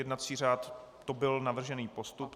Jednací řád - to byl navržený postup.